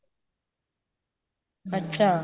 ਅੱਛਾ